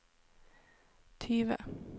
tyve